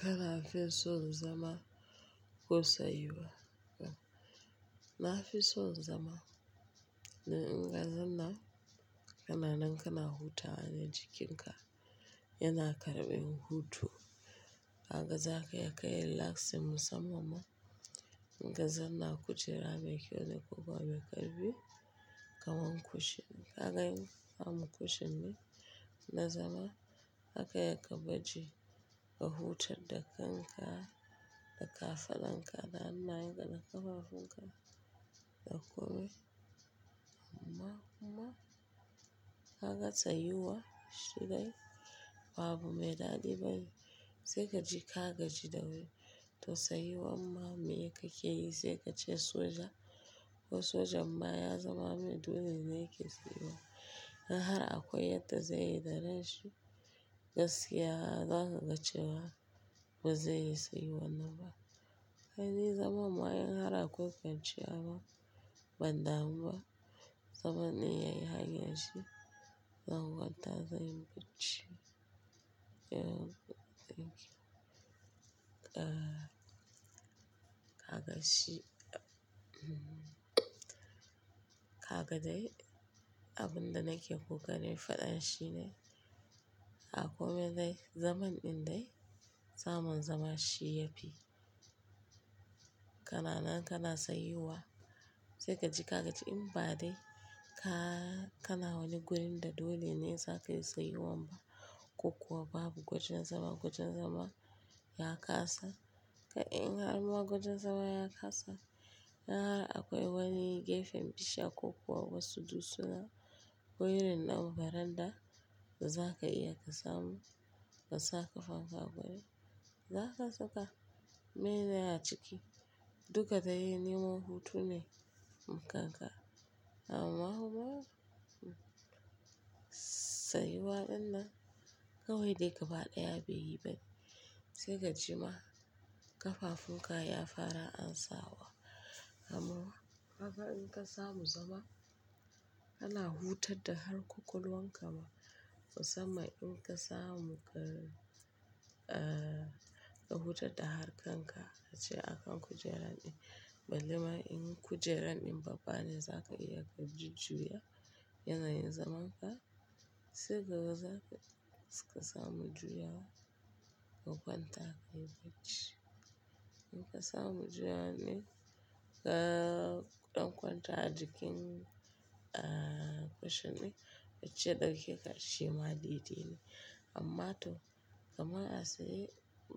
Kana fi so zama ko tsayuwa. Na fi so zama, na in ga zanna kananan kana huta ne jikin ka. Yana karɓi hutu. Haka za ka yi, ka yi relax musamanma. In ka zanna a kujera mai kyau da kuka, ya karɓi kaman ku shin. Kaga I'm am kushin ne na zama zaka iya ka baje ka hutar da kanka da kafadan ka da hannayenka da kafafunka da komai. Tsayuwa kuma kaga tsayuwa shi dai ba abu mai dadi bane sai kaji ka gaji toh tsayawan kuma me kakeyi sai kace soja, sojan ma yazama mai dole ne yake tsayuwa don har akwai yanda zai yi da ranshi gaskiya zaka cewa ba zai yi tsayuwan nan ba sai dai zama in har akwai fahimci abun ban damu ba zaman ne yayi hanyan shi zan kwanta zanyi barci kaga dai abun da nake kokarin fada shi ne a komai dai zaman din dai samun zama shi yafi kana na kana tsayuwa sai ka ji ka gaji Im ba dai ka na wani gurin da dole zakayi tsayuwan ba wajen zama na kasa. Kai in har ma gwajin zama ya kasa, in har akwai wani gefen bishiya ko kuwa wasu dutsuna ko irin na baran da za ka iya ka samu ka, sa kafafu a wurin. Za ka saka meye ne a ciki, duka dai neman hutu ne. Mu kanka, amma hu. Tsayuwa dinnan kawai dai gaba ɗaya bai yi bane. Sai ka ji ma ƙafafun ka ya fara ansa wa. Amma ƙafa in ka samu zama, kana huta da har kokolwanka ma. Musamman in ka samu ƙar ka huta da harkan ka, ka je akan kujerar ɗin. Ballema in kujerar ɗin babba ne, za ka iya ka juj juya, yana yin zaman ka. Sai kaga zakaji kasamu juya wa, ka kwanta ka yi bacci. In ka samu juya wa ne, ka ɗau kwanta a jikin, ah, cushion ɗin, bacci ya dauke ka shima dai dai ne. Amma to kamar a tsaye,